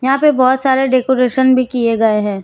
यहां पे बहोत सारे डेकोरेशन भी किए गए हैं।